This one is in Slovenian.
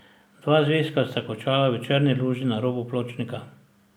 Dva zvezka sta končala v črni luži na robu pločnika.